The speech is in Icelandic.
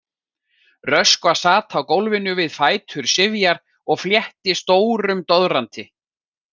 Röskva sat á gólfinu við fætur Sifjar og fletti stórum doðranti.